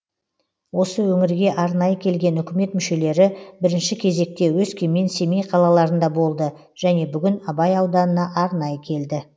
осы өңірге арнайы келген үкімет мүшелері бірінші кезекте өскемен семей қалаларында болды және бүгін абай ауданына арнайы келді